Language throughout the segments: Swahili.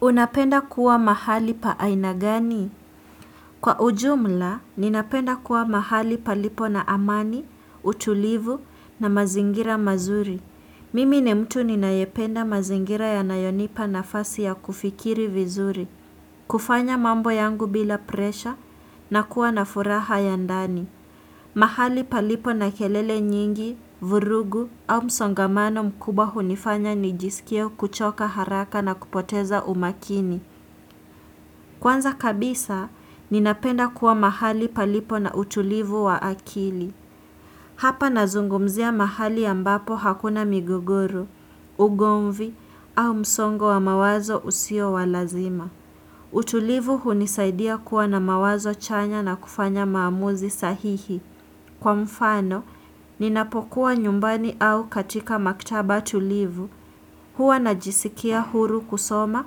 Unapenda kuwa mahali pa aina gani? Kwa ujumla, ninapenda kuwa mahali palipo na amani, utulivu, na mazingira mazuri. Mimi ni mtu ninayependa mazingira yanayonipa nafasi ya kufikiri vizuri. Kufanya mambo yangu bila presha, na kuwa na furaha ya ndani. Mahali palipo na kelele nyingi, vurugu au msongamano mkubwa hunifanya nijisikie kuchoka haraka na kupoteza umakini. Kwanza kabisa, ninapenda kuwa mahali palipo na utulivu wa akili. Hapa nazungumzia mahali ambapo hakuna migogoro, ugomvi au msongo wa mawazo usio wa lazima. Utulivu hunisaidia kuwa na mawazo chanya na kufanya maamuzi sahihi. Kwa mfano, ninapokuwa nyumbani au katika maktaba tulivu, huwa najisikia huru kusoma,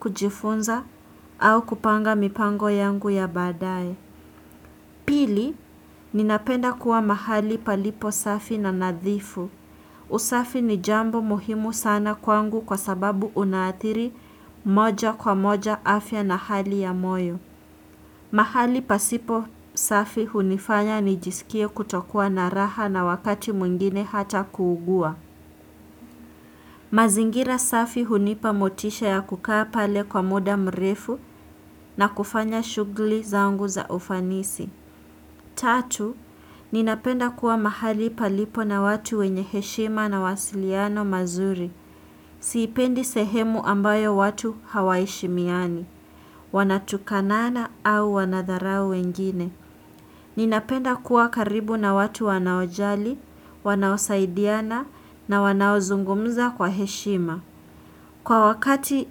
kujifunza au kupanga mipango yangu ya baadaye. Pili, ninapenda kuwa mahali palipo safi na nadhifu. Usafi ni jambo muhimu sana kwangu kwa sababu unaathiri moja kwa moja afya na hali ya moyo. Mahali pasipo safi hunifanya nijisikie kutokuwa na raha na wakati mwingine hata kuugua. Mazingira safi hunipa motisha ya kukaa pale kwa muda mrefu na kufanya shughuli zangu za ufanisi. Tatu, ninapenda kuwa mahali palipo na watu wenye heshima na mawasiliano mazuri. Siipendi sehemu ambayo watu hawaheshimiani. Wanatukanana au wanadharau wengine. Ninapenda kuwa karibu na watu wanaojali, wanaosaidiana na wanaozungumza kwa heshima. Kwa wakati,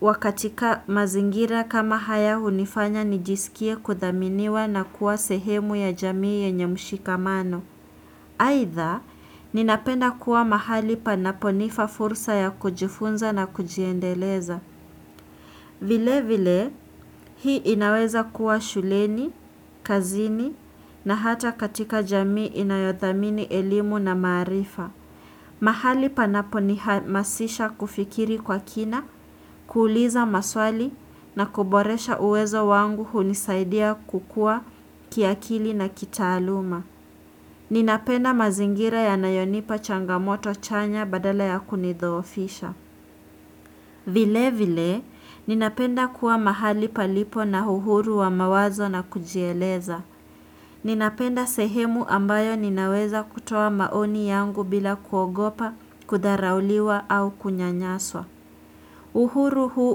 wakati ka mazingira kama haya hunifanya nijisikie kudhaminiwa na kuwa sehemu ya jamii yenye mshikamano. Aidha, ninapenda kuwa mahali panaponifa fursa ya kujifunza na kujiendeleza. Vile vile, hii inaweza kuwa shuleni, kazini na hata katika jamii inayothamini elimu na maarifa. Mahali panapo nihamasisha kufikiri kwa kina, kuuliza maswali na kuboresha uwezo wangu, hunisaidia kukua kiakili na kitaaluma. Ninapenda mazingira yanayonipa changamoto chanya badala ya kunidhoofisha. Vile vile, ninapenda kuwa mahali palipo na uhuru wa mawazo na kujieleza. Ninapenda sehemu ambayo ninaweza kutoa maoni yangu bila kuogopa, kudharauliwa au kunyanyaswa. Uhuru huu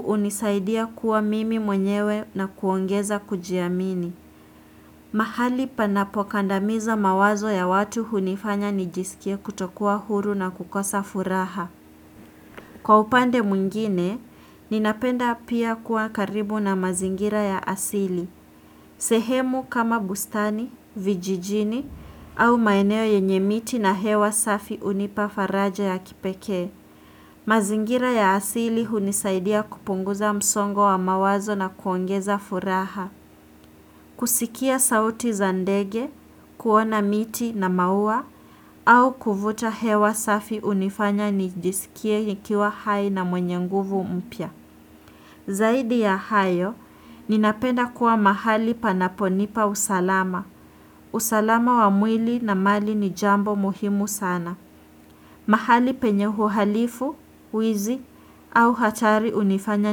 hunisaidia kuwa mimi mwenyewe na kuongeza kujiamini. Mahali panapo kandamiza mawazo ya watu hunifanya nijisikie kutokuwa huru na kukosa furaha. Kwa upande mwingine, ninapenda pia kuwa karibu na mazingira ya asili. Sehemu kama bustani, vijijini au maeneo yenye miti na hewa safi hunipa faraja ya kipekee. Mazingira ya asili hunisaidia kupunguza msongo wa mawazo na kuongeza furaha kusikia sauti za ndege, kuona miti na maua au kuvuta hewa safi hunifanya nijisikie nikiwa hai na mwenye nguvu mpya Zaidi ya hayo, ninapenda kuwa mahali panaponipa usalama usalama wa mwili na mali ni jambo muhimu sana mahali penye uhalifu, wizi au hatari hunifanya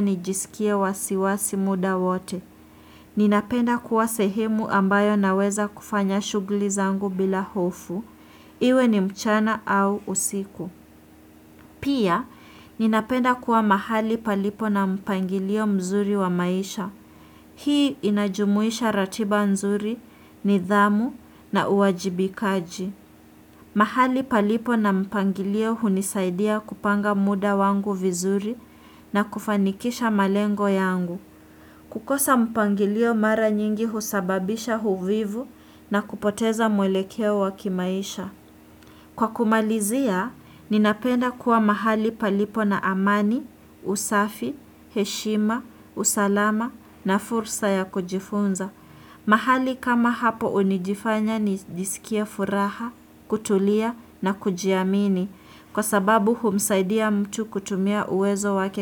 nijisikie wasiwasi muda wote. Ninapenda kuwa sehemu ambayo naweza kufanya shughuli zangu bila hofu. Iwe ni mchana au usiku. Pia, ninapenda kuwa mahali palipo na mpangilio mzuri wa maisha. Hii inajumuisha ratiba mzuri nidhamu na uwajibikaji. Mahali palipo na mpangilio hunisaidia kupanga muda wangu vizuri na kufanikisha malengo yangu. Kukosa mpangilio mara nyingi husababisha uvivu na kupoteza mwelekeo wa kimaisha. Kwa kumalizia, ninapenda kuwa mahali palipo na amani, usafi, heshima, usalama na fursa ya kujifunza. Mahali kama hapo hunifanya nijisikie furaha, kutulia na kujiamini, kwa sababu humsaidia mtu kutumia uwezo wake.